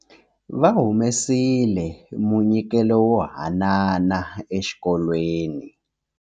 Va humesile munyikelo wo hanana exikolweni.